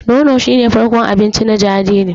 Nono shi ne farkon abinci na jariri.